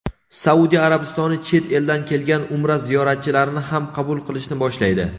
Saudiya Arabistoni chet eldan kelgan umra ziyoratchilarini ham qabul qilishni boshlaydi.